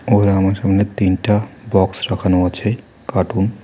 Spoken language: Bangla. আমার সামনে তিনটা বক্স রাখানো আছে কার্টুন ।